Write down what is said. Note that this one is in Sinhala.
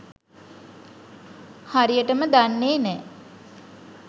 හරියටම දන්නෙ නෑ.